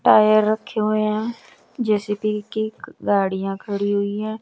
Tyre रखे हुए हैं जे_सी_बी की गाड़ियां खड़ी हुई हैं।